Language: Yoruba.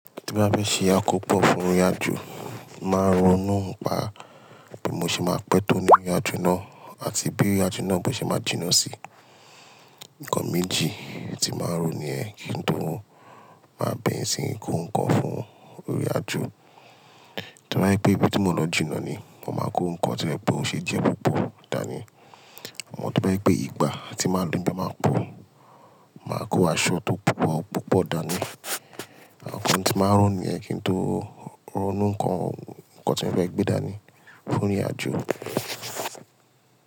Tí bá fẹ́ ṣe àkópọ̀ fún ìrìnàjò, màá ronú pa bí mo ṣe máa pẹ́ tó ní ìrìnàjò náà àti bí ìrìnàjò náà ṣe máa jìnnà sí. Ǹkan méjì tí màá róni ẹ kí n tó má bẹ̀rẹ̀ síí kó ǹkan fún ìrìnàjò. To bá jẹ́ pé ibi tí mò ń lọ jìnnà ni, mo máa kó ǹkan to je pé ó ṣe jẹ́ púpọ̀ dání. Àmọ́ to bá jẹ́ pé ìgbà tí màá lò n bee máa pọ̀, màá kó aṣọ tó púpọ̀ púpọ̀ dání. Àwọn ohun tí màá ró niyẹn kí n tó ronú ǹkan tí mo fẹ́ gbé dání fún ìrìnàjò.